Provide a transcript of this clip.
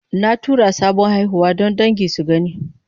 Na tura sabon haihuwa don dangi su gani.